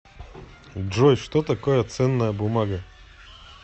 джой что такое ценная бумага